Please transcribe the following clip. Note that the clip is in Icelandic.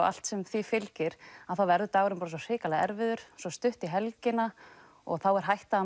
allt sem því fylgir að þá verður dagurinn bara svo hrikalega erfiður svo stutt í helgina og þá er hætta